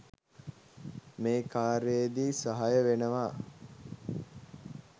මේ කාර්යයේදී සහාය වෙනවා.